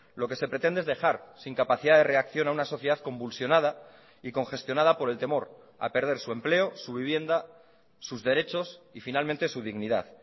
lo que se pretende es dejar sin capacidad de reacción a una sociedad convulsionada y congestionada por el temor a perder su empleo su vivienda sus derechos y finalmente su dignidad